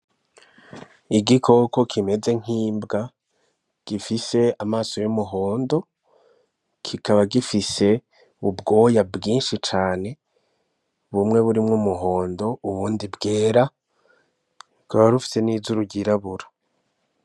Igikoko kimeze nk'imbwa gifise amaso y'umuhondo kikaba gifise ubwoya bwinshi cane bumwe burimwo umuhondo ubundi bwera ikaba ifise n'izuru ry'irabura.